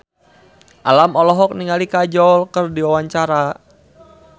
Alam olohok ningali Kajol keur diwawancara